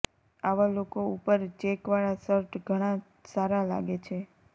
આવા લોકો ઉપર ચેકવાળા શર્ટ ઘણા સારા લાગે છે